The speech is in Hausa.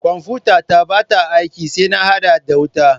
Kwanfutata ba ta aiki sai na hada da wuta.